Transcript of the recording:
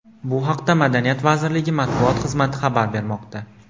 Bu haqda Madaniyat vazirligi matbuot xizmati xabar bermoqda .